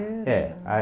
É, a